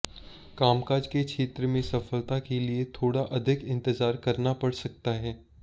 कामकाज के क्षेत्र में सफलता के लिए थोड़ा अधिक इंतजार करना पड़ सकता है